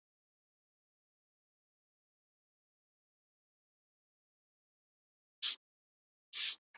Magnús Björgvinsson er líklega á förum frá Grindavík.